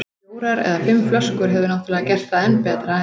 Fjórar eða fimm flöskur hefðu náttúrlega gert það enn betra, en